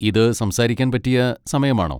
ഇത് സംസാരിക്കാൻ പറ്റിയ സമയമാണോ?